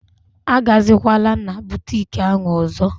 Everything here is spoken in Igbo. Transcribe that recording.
Agazikwala na boutiki ahụ ọzọ!!!